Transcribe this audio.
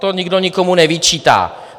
To nikdo nikomu nevyčítá.